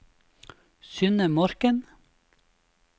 Synne Morken